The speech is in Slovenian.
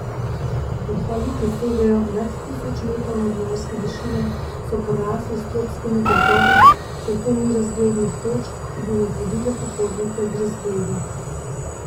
Vrhovi, ki segajo nad tisoč metrov nadmorske višine, so porasli s tropskimi gozdovi, zato ni razglednih točk, ki bi nagradile pohodnike z razgledi.